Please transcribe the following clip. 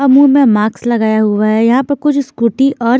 marks लगाया हुआ है यहां पे कुछ स्कूटी और--